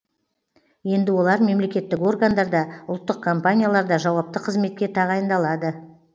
енді олар мемлекеттік органдарда ұлттық компанияларда жауапты қызметке тағайындалады